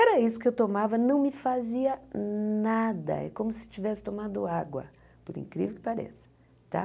Era isso que eu tomava, não me fazia nada, é como se tivesse tomado água, por incrível que pareça tá.